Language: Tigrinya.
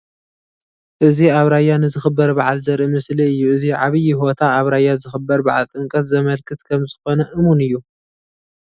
እዚ ኣብ ራያ ንዝኽበር በዓል ዘርኢ ምስሊ እዩ፡፡ እዚ ዓብዪ ሆታ ኣብ ራያ ዝኽበር በዓል ጥምቀት ዘመልክት ከምዝኾነ እሙን እዩ፡፡